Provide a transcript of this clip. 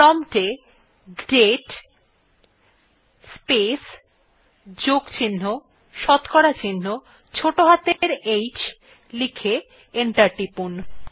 prompt এ দাতে place plus শতকরা চিহ্ন ছোটো হাতের অক্ষরে h লিখে এন্টার টিপুন